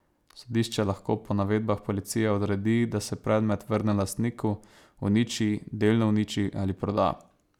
Sodišče lahko po navedbah policije odredi, da se predmet vrne lastniku, uniči, delno uniči ali proda.